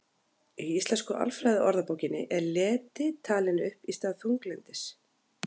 Í Íslensku alfræðiorðabókinni er leti talin upp í stað þunglyndis.